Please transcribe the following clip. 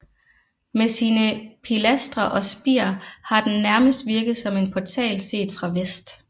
Med sine pilastre og spir har den nærmest virket som en portal set fra vest